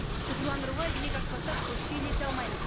цифрландыруға иек артпасақ көшке ілесе алмаймыз